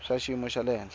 swa xiyimo xa le henhla